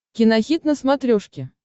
кинохит на смотрешке